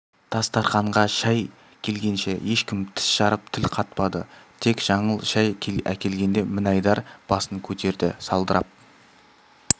дастарқанға шай келгенше ешкім тіс жарып тіл қатпады тек жаңыл шай әкелгенде мінайдар басын кетерді салдырап